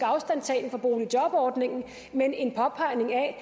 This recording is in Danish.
afstandtagen fra boligjobordningen men en påpegning af at